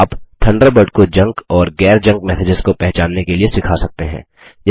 आप थंडरबर्ड को जंक और गैर जंक मैसेजेस को पहचानने के लिए सिखा सकते हैं